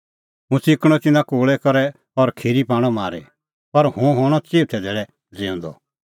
हुंह च़िकणअ तिन्नां कोल़ै करै और खिरी पाणअ मारी पर हुंह हणअ चिऊथै धैल़ै ज़िऊंदअ